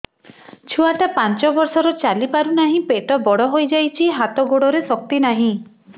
ଛୁଆଟା ପାଞ୍ଚ ବର୍ଷର ଚାଲି ପାରୁ ନାହି ପେଟ ବଡ଼ ହୋଇ ଯାଇଛି ହାତ ଗୋଡ଼ରେ ଶକ୍ତି ନାହିଁ